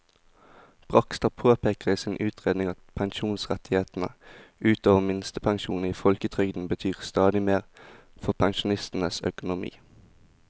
Bragstad påpeker i sin utredning at pensjonsrettighetene ut over minstepensjonen i folketrygden betyr stadig mer for pensjonistenes økonomi.